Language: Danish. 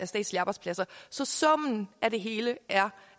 statslige arbejdspladser så summen af det hele er